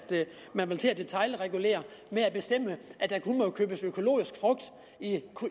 man vil til at detailregulere bestemme at der kun må købes økologisk frugt